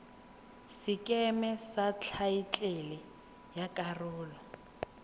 sekeme sa thaetlele ya karolo